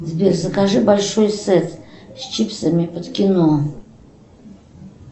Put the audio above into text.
сбер закажи большой сет с чипсами под кино